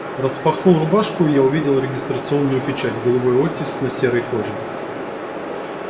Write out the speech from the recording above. распахнул рубашку и я увидел регистрационную печать голубой оттиск на серой коже